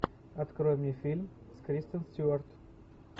открой мне фильм с кристен стюарт